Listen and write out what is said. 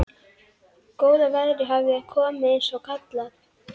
Góða veðrið hafði komið eins og kallað.